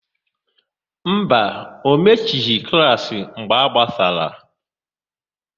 Mba, o mechighị klaasị mgbe a gbasara.